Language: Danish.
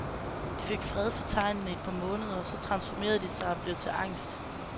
De fik fred for tegnene i et par måneder, så transformerede de sig, og blev til angst.